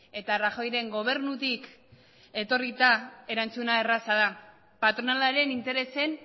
eta rajoyren gobernutik etorrita erantzuna erraza da patronalaren interesen